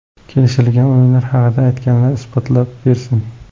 Kelishilgan o‘yinlar haqida aytganlar isbotlab bersin.